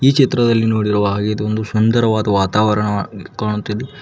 ಈ ಚಿತ್ರದಲ್ಲಿ ನೋಡಿರುವ ಹಾಗೆ ಇದೊಂದು ಸುಂದರವಾದ ವಾತಾವರಣ ವಾ- ಕಾಣುತ್ತಿದೆ.